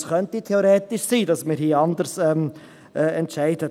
Es könnte theoretisch sein, dass wir hier anders entscheiden.